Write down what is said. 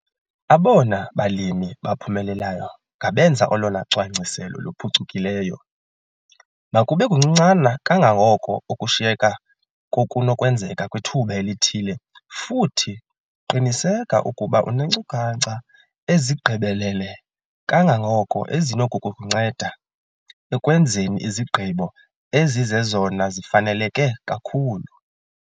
Abona balimi baphumelelayo ngabenza olona cwangciselo luphucukileyo. Makube kuncinane kangangoko okushiyeka kokunokwenzeka kwithuba elithile futhi qiniseka ukuba uneenkcukacha ezigqibelele kangangoko ezinokukunceda ekwenzeni izigqibo ezizezona zifaneleke kakhulu.